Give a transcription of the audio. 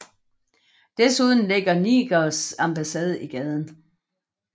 Desuden ligger Nigers ambassade i gaden